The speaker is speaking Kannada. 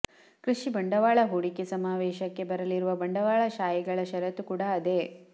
ಕೃಷಿ ಬಂಡವಾಳ ಹೂಡಿಕೆ ಸಮಾವೇಶಕ್ಕೆ ಬರಲಿರುವ ಬಂಡವಾಳ ಶಾಹಿಗಳ ಶರತ್ತೂ ಕೂಡ ಅದೇ